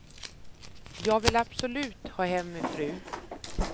Jag vill absolut ha hem min fru.